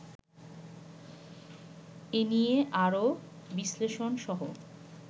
এনিয়ে আরো বিশ্লেষণসহ